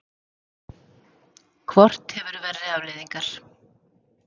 Hvort hefur verri afleiðingar?